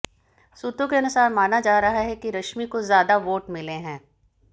सूत्रों के अनुसार माना जा रहा है कि रश्मि को ज्यादा वोट मिले है